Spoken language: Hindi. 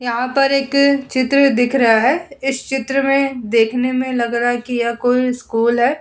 यहाँ पर एक चित्र दिख रहा है। इस चित्र में देखने में लग रहा है कि यह कोई स्कूल है।